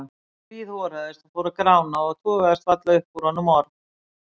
Hann hríðhoraðist og fór að grána og togaðist varla upp úr honum orð.